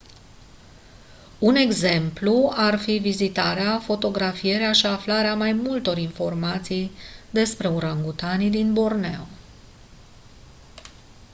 un exemplu ar fi vizitarea fotografierea și aflarea mai multor informații despre urangutanii din borneo